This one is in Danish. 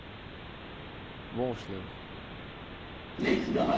Hvorslev